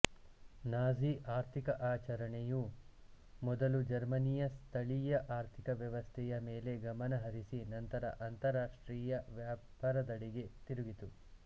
Nazi ಆರ್ಥಿಕ ಆಚರಣೆಯು ಮೊದಲು ಜರ್ಮನಿಯ ಸ್ಥಳೀಯ ಆರ್ಥಿಕ ವ್ಯವಸ್ಥೆಯ ಮೇಲೆ ಗಮನ ಹರಿಸಿ ನಂತರ ಅಂತರ್ರಾಷ್ಟ್ರೀಯ ವ್ಯಾಪಾರದೆಡೆ ತಿರುಗಿತು